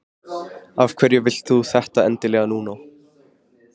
Af hverju vilt þú þetta endilega núna?